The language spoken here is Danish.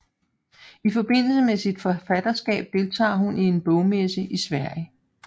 I forbindelse med sit forfatterskab deltager hun i en bogmesse i Sverige